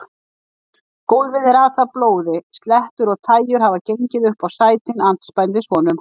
Gólfið er atað blóði, slettur og tægjur hafa gengið upp á sætin andspænis honum.